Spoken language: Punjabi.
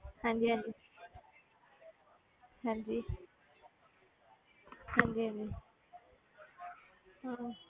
ਹਾਂਜੀ ਹਾਂਜੀ ਹਾਂਜੀ ਹਾਂਜੀ ਹਾਂਜੀ ਹਮ